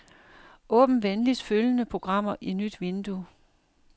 Åbn venligst følgende programmer i nyt vindue.